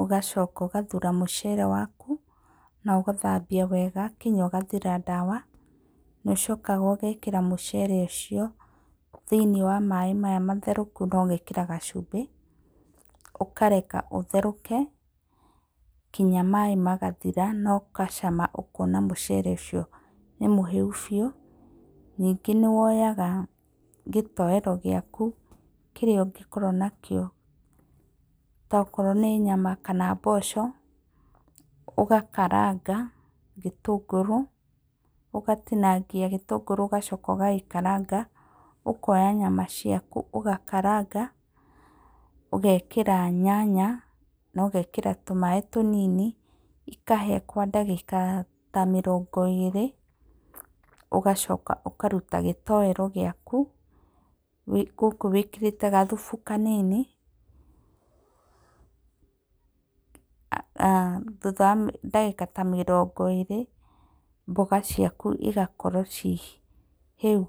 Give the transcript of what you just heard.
ũgacoka ũgathura mũcere waku na ũgathambia wega nginya ũgathira ndawa. Nĩũcokaga ũgekĩra mũcere ũcio thĩinĩ wa maaĩ maya matherũku na ũgekĩra gacumbĩ. Ũkareka ũtherũke nginya maaĩ magathira na ũgacama ũkona mũcere ũcio nĩ mũhĩu biũ. Ningĩ nĩwoyaga gĩtoero gĩaku kĩrĩa ũngĩkorwo nakĩo, akorwo nĩ nyama kana mboco. Ũgakaranga gĩtũngũrũ ũgatinangia gĩtũngũrũ ũgacoka ũgagĩkaranga, ũkonya nyama ciaku ũgakaranga ũgekĩra nyanya na ũgekĩra tũmaĩ tũnini, ikahĩa kwa ndagĩka ta mĩrongo ĩrĩ, ũgacoka ũkaruta gĩtoero gĩakũ gũkũ wĩkĩrĩte gathubu kanini thutha wa ndagĩka ta mĩrongo ĩrĩ mboga ciaku cigakorwo cirĩ hĩu.